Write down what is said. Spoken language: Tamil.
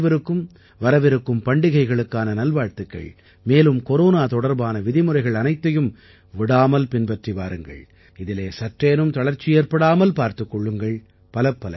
உங்கள் அனைவருக்கும் வரவிருக்கும் பண்டிகைகளுக்கான நல்வாழ்த்துகள் மேலும் கொரோனா தொடர்பான விதிமுறைகள் அனைத்தையும் விடாமல் பின்பற்றி வாருங்கள் இதிலே சற்றேனும் தளர்ச்சி ஏற்படாமல் பார்த்துக் கொள்ளுங்கள்